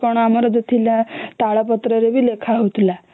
ଆଗର ଟା ଆମର କଣ ଥିଲା ତାଳ ପତ୍ର ରେ ବି ଲେଖା ହଉଥିଲା